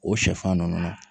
O sɛfan ninnu